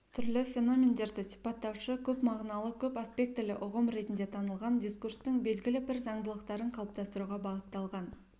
түрлі феномендерді сипаттаушы көпмағыналы көпаспектілі ұғым ретінде танылған дискурстың белгілі бір заңдылықтарын қалыптастыруға бағытталған